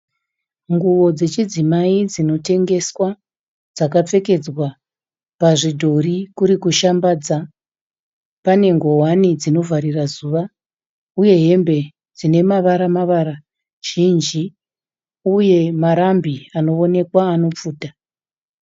Nguwo dzechidzimai dzinotengeswa dzakapfekedzwa pazvidhori kukuri kushambadza, pane ngowani dzinovharira zuva uye hembe dzine mavara mavara zhinji uye marambi anoonekwa anopfuta.